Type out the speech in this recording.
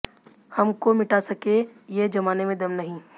हम को मिटा सके ये ज़माने में दम नहीं